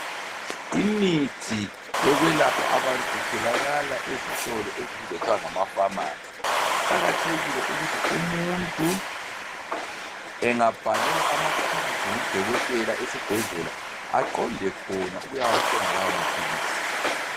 Imithi yokwelapha abantu itholakala ezitolo okubizwa kuthwe ngamapharmacy kuqakathekile ukuthi umuntu emgabhalelwa amaphilisi ngudokotela esibhedlela aqonde khona ukuyathenga lawo maphilisi.